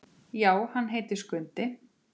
Já, hann heitir Skundi.